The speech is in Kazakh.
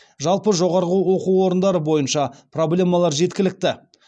жалпы жоғарғы оқу орындары бойынша проблемалар жеткілікті